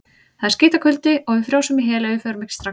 Það er skítakuldi og við frjósum í hel ef við förum ekki strax.